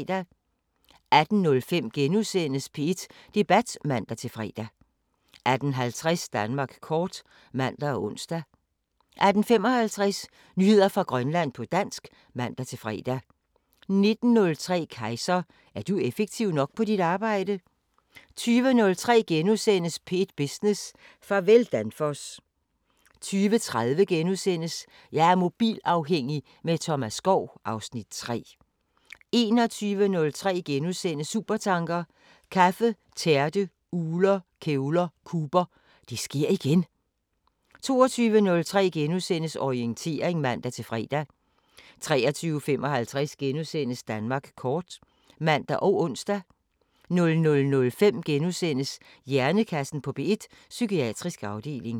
18:05: P1 Debat *(man-fre) 18:50: Danmark kort (man og ons) 18:55: Nyheder fra Grønland på dansk (man-fre) 19:03: Kejser: Er du effektiv nok på dit arbejde? 20:03: P1 Business: Farvel Danfoss * 20:30: Jeg er mobilafhængig – med Thomas Skov (Afs. 3)* 21:03: Supertanker: Kaffe, tærte, ugler, kævler, Cooper – Det sker igen! * 22:03: Orientering *(man-fre) 23:55: Danmark kort *(man og ons) 00:05: Hjernekassen på P1: Psykiatrisk afdeling *